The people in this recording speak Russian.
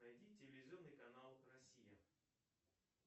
найди телевизионный канал россия